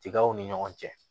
Tigaw ni ɲɔgɔn cɛ